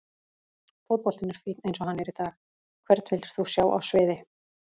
Fótboltinn er fínn eins og hann er í dag Hvern vildir þú sjá á sviði?